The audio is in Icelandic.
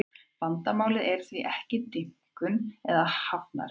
Vandamálið er því ekki dýpkun hafnarinnar